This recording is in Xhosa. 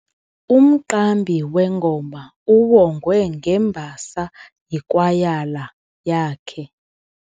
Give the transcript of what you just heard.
Umqambi wengoma uwongwe ngembasa yikwayala yakhe.